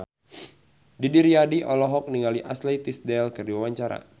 Didi Riyadi olohok ningali Ashley Tisdale keur diwawancara